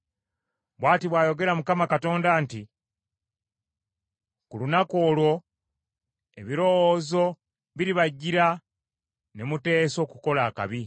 “ ‘Bw’ati bw’ayogera Mukama Katonda nti, Ku lunaku olwo ebirowoozo biribajjira ne muteesa okukola akabi.